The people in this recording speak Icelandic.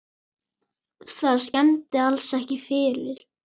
Það skemmdi alls ekki fyrir.